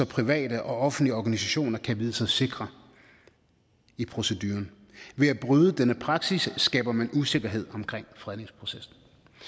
private og offentlige organisationer kan vide sig sikre i proceduren ved at bryde denne praksis skaber man usikkerhed omkring fredningsprocessen